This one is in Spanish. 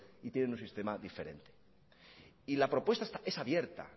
y tienen un sistema diferente y la propuesta es abierta